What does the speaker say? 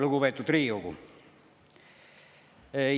Lugupeetud Riigikogu!